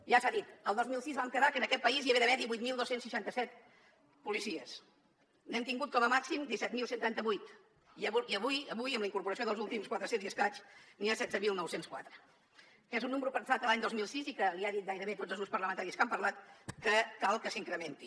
ja s’ha dit el dos mil sis vam quedar que en aquest país hi havia d’haver divuit mil dos cents i seixanta set policies n’hem tingut com a màxim disset mil cent i trenta vuit i avui avui amb la incorporació dels últims quatre cents i escaig n’hi ha setze mil nou cents i quatre que és un número pensat l’any dos mil sis i que li han dit gairebé tots els grups parlamentaris que han parlat que cal que s’incrementi